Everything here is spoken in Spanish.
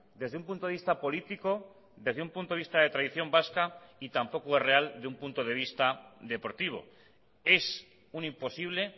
desde un punto de vista político desde un punto de vista de tradición vasca y tampoco es real de un punto de vista deportivo es un imposible